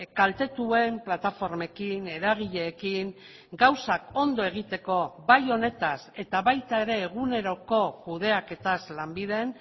kaltetuen plataformekin eragileekin gauzak ondo egiteko bai honetaz eta baita ere eguneroko kudeaketaz lanbiden